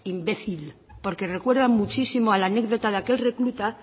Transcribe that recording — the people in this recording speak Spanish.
imbécil porque recuerda muchísimo a la anécdota de aquel recluta